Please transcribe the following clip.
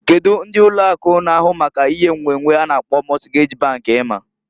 Kedu ndi ụlọ akụ na ahụ maka ihe nnwennwe a na-akpọ Mọtgej bank ima?